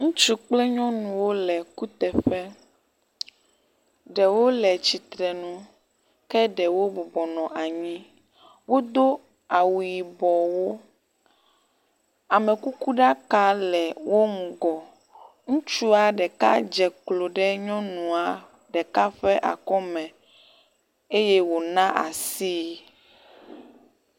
Ŋutsu kple nyɔnuwo le kuteƒe, ɖewo le tsitre nu ke ɖewo bubɔnɔ anyi. Wo do awu yibɔwo, amekukuɖaka le wo ŋgɔ. Ŋutsua ɖeka dze klo ɖe nyɔnua ɖeka ƒe akɔme eye wo na asii.